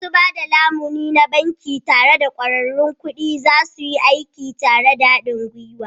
Masu ba da lamuni na banki da ƙwararrun kuɗi za su yi aiki tare da haɗin gwiwa.